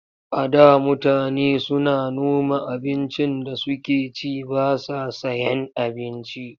A da mutane suna noma abincin da suke ci ba sa sayen abinci.